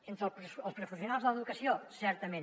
entre els professionals de l’educació certament